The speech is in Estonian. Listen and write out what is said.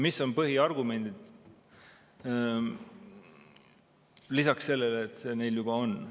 Mis on põhiargumendid lisaks sellele, et see õigus neil juba on?